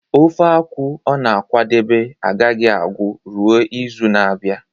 ofe akwu ọ na-akwadebe agaghị agu ruo izu na-abịa